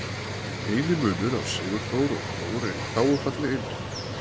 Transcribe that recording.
eini munur á sigurþór og þór er í þágufalli eintölu